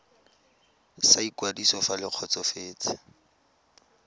sa ikwadiso fa le kgotsofetse